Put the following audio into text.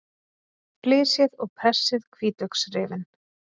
Flysjið og pressið hvítlauksrifin.